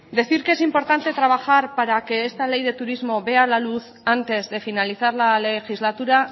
decir que es importante trabajar para que esta ley de turismo vea la luz antes de finalizar la legislatura